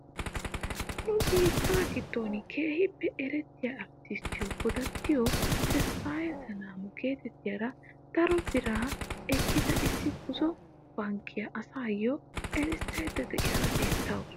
Nu biittaa giddon keehippe erettiyaa arttisttiyoo godattiyoo tedfaaye selaamo getettiyaara daro biraa ekkada issi buzo bankkiyaa asayoo erissayda de'iyaara bettawus.